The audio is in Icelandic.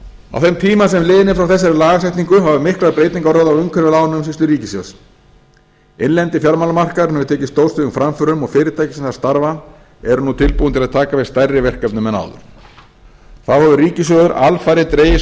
á þeim tíma sem liðinn er frá þessari lagasetningu hafa miklar breytingar orðið á umhverfi lánaumsýslu ríkissjóðs innlendi fjármálamarkaðurinn hefur tekið stórstígum framförum og fyrirtæki sem þar starfa eru nú tilbúin að taka við stærri verkefnum en áður þá hefur ríkissjóður alfarið dregið sig